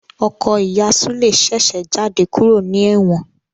Ọkọ ìyá Sule ṣèṣe jáde kúrò ní ewon